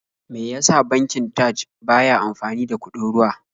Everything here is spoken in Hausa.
Me ya sa bankin Taj ba ya amfani da kuɗin ruwa?